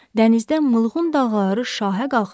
Dənizdə mılğun dalğaları şahə qalxır.